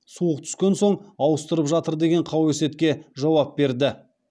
суық түскен соң ауыстырып жатыр деген қауесетке жауап берді